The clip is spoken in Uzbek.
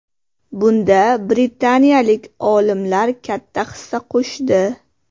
Bunda britaniyalik olimlar katta hissa qo‘shdi.